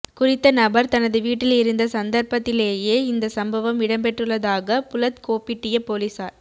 குறித்த நபர் தனது வீட்டில் இருந்த சந்தர்ப்பத்திலேயே இந்த சம்பவம்இடம்பெற்றுள்ளதாக புளத்கோப்பிட்டிய பொலிஸார்